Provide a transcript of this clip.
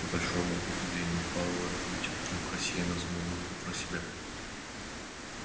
к большому удивлению пауэлла кьюти вдруг рассеянно замурлыкал про себя